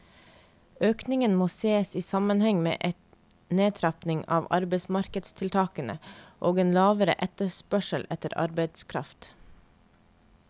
Økningen må ses i sammenheng med en nedtrapping av arbeidsmarkedstiltakene og en lavere etterspørsel etter arbeidskraft.